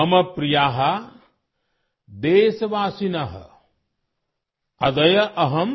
ماں پریا: ملک کی خاتون: